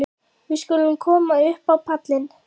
Við skulum koma upp á pallinn.